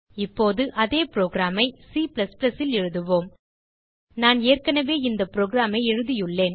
இப்போது அதே புரோகிராம் ஐ C ல் எழுதுவோம் நான் ஏற்கனவே இந்த புரோகிராம் ஐ எழுதியுள்ளேன்